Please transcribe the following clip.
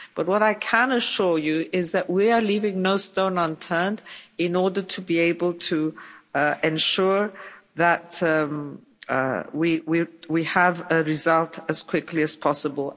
But what I can assure you of is that we are leaving no stone unturned in order to be able to ensure that we have a result as quickly as possible.